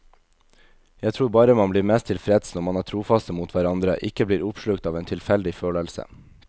Jeg tror bare man blir mest tilfreds når man er trofaste mot hverandre, ikke blir oppslukt av en tilfeldig følelse.